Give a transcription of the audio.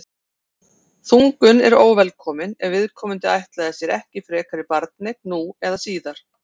þungun er óvelkomin ef viðkomandi ætlaði sér ekki frekari barneign nú eða síðar